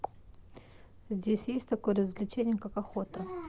здесь есть такое развлечение как охота